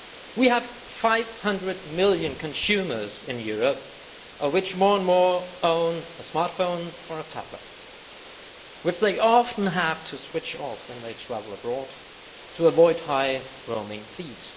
We have 500 million consumers in Europe, of whom more and more own a smartphone or a tablet which they often have to switch off when they travel abroad to avoid high roaming fees.